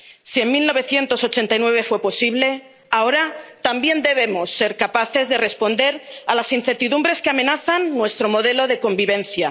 Si en 1989 fue posible, ahora también debemos ser capaces de responder a las incertidumbres que amenazan nuestro modelo de convivencia.